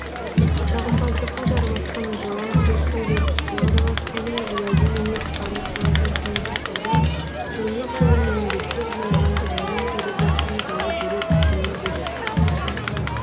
жағымпаздыққа жармасқан жалаң сөз сөйлеп уағдаласқанын уәде емес ада қылатын қиын шақтарда еңбек жолын еңбектеп жинаған жанның жүріп өткен жолы бөлек жөні бөлек